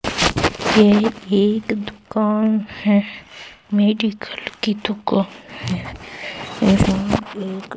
ये एक दुकान है मेडिकल की दुकान है यहां एक--